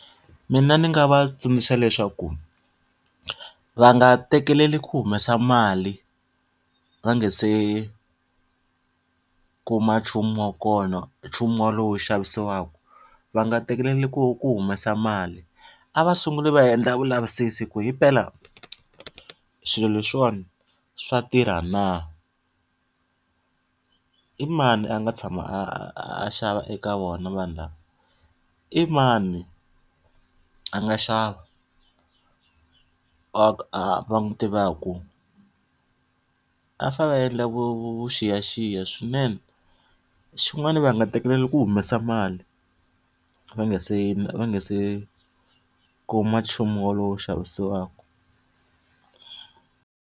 Mina ndzi nga va tsundzuxa leswaku, va nga tekeleli ku humesa mali va nga se kuma nchumu wa kona nchumu walowu wu xavisiwaka. Va nga tekeleli ku ku humesa mali, a va sunguli va endla vulavisisi ku himpela swilo leswiwani swa tirha na i mani a nga tshama a a a a xava eka vona vanhu lava? I mani a nga xava va n'wi tivaka? Va fanele va endla vuxiyaxiya swinene. Xin'wana va nga tekeleli ku humesa mali va nga se va nga se kuma nchumu wolowo wu xavisiwaka.